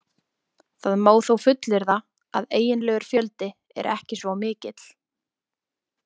Það má þó fullyrða að eiginlegur fjöldi er ekki svo mikill.